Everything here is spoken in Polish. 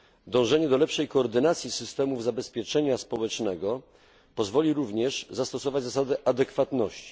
Dążenie do lepszej koordynacji systemów zabezpieczenia społecznego pozwoli również zastosować zasady adekwatności.